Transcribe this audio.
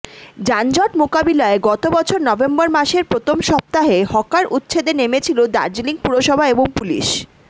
যানজট মোকাবিলায় গত বছর নভেম্বর মাসের প্রথম সপ্তাহে হকার উচ্ছেদে নেমেছিল দার্জিলিং পুরসভা এবং পুলিশ